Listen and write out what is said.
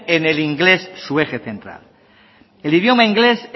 en el inglés su eje central el idioma inglés